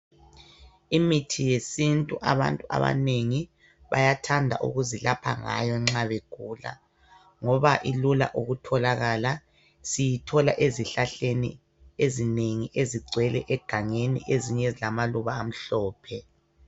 Imithi yesintu abantu abanengi bayathanda ukuzilapha ngayo nxa begula ngoba ilula ukutholakala, siyithola ezihlahleni ezinengi ezigcwele egangeni, ezinye ezilamaluba amhlophe.